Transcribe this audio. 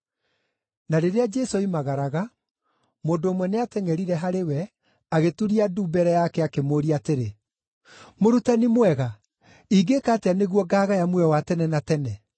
Na rĩrĩa Jesũ oimagaraga, mũndũ ũmwe nĩatengʼerire harĩ we, agĩturia ndu mbere yake, akĩmũũria atĩrĩ, “Mũrutani mwega, ingĩĩka atĩa nĩguo ngaagaya muoyo wa tene na tene?”